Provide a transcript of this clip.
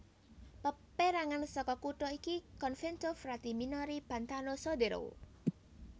Pérangan saka kutha iki Convento frati minori Pantano Sodero